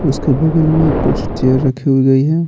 उसके बगल में कुछ चेयर रखी हुई गई है।